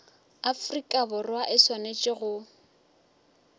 afrika borwa e swanetše go